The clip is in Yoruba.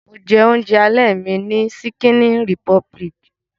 Mo jẹ oúnjẹ alẹ́ mi ní ṣíkíní rìpọbilìkì.